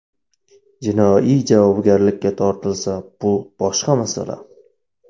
Jinoiy javobgarlikka tortilsa bu boshqa masala.